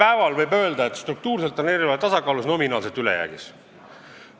Täna võib öelda, et struktuurselt on eelarve tasakaalus, nominaalselt ülejäägis.